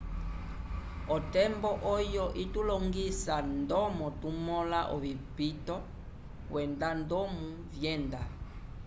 otembo oyo itulongisa ndomo tumõla ovipito kwenda ndomo vyenda